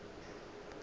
ekwa tšeo a napa a